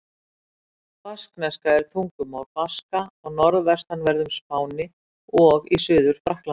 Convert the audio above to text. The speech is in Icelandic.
Baskneska er tungumál Baska á norðvestanverðum Spáni og í Suður-Frakklandi.